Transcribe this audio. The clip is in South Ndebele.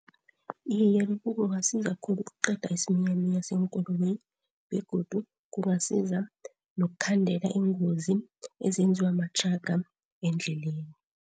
Iye, lokhu kungasiza khulu ukuqeda isiminyaminya seenkoloyi begodu kungasiza nokukhandela iingozi ezenziwa mathraga endleleni.